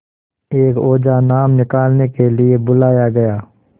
एक ओझा नाम निकालने के लिए बुलाया गया